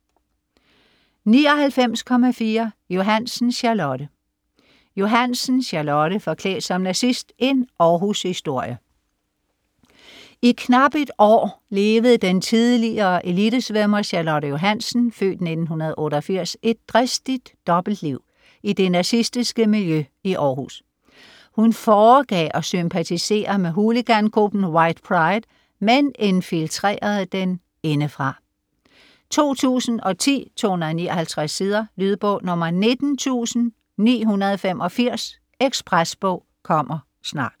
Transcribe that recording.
99.4 Johannsen, Charlotte Johannsen, Charlotte: Forklædt som nazist: en Århushistorie I knapt et år levede den tidlige elitesvømmer Charlotte Johannsen (f. 1988) et dristigt dobbeltliv i det nazistiske miljø i Århus. Hun foregav at sympatisere med hooligangruppen White Pride, men infiltrerede den indefra. 2010, 259 sider. Lydbog 19985 Ekspresbog - kommer snart